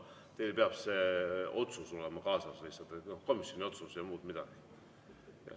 Nimelt, teil peab lihtsalt see komisjoni otsus kaasas olema, muud midagi.